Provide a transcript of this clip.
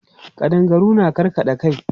Ƙadangaru na karkaɗa kai.